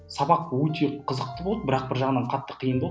сабақ өте қызықты болды бірақ бір жағынан қатты қиын болды